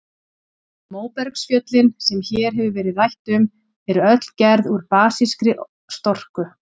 Móbergsfjöllin, sem hér hefur verið rætt um, eru öll gerð úr basískri storku.